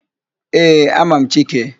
Ee, ama m Chike.